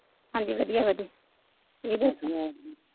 ਹਾਜੀ ਵਧੀਆਂ ਵਧੀਆਂ ਤੁਸੀ ਦਸੋ